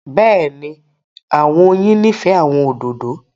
Bẹ́ẹ̀ni, àwọn oyin nifẹ àwọn ódódò.